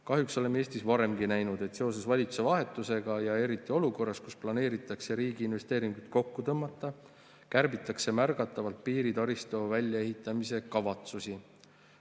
Kahjuks oleme Eestis varemgi näinud, et seoses valitsuse vahetusega ja eriti olukorras, kus planeeritakse riigi investeeringud kokku tõmmata, kärbitakse märgatavalt piiritaristu väljaehitamise kavatsusi.